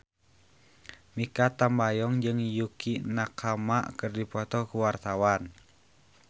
Mikha Tambayong jeung Yukie Nakama keur dipoto ku wartawan